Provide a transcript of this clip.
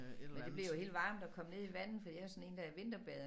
Men det bliver jo helt varmt at komme ned i vandet fordi jeg jo sådan en der vinterbader